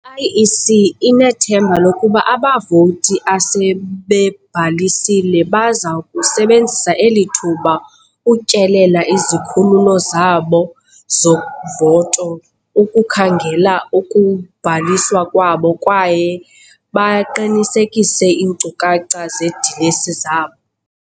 I-IEC inethemba lokuba abavoti asebebhalisile baza kusebenzisa eli thuba ukutyelela izikhululo zabo zovoto ukukhangela ukubhaliswa kwabo kwaye baqinisekise iinkcukacha zeedilesi zabo.